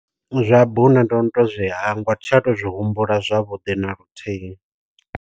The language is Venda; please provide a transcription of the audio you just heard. Zwa bune ndo no to zwi hangwa tsha to zwi humbula zwavhuḓi na luthihi.